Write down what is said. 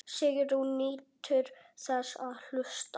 Sigrún nýtur þess að hlusta.